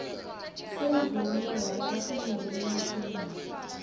semvumo yalabatimele ngetimali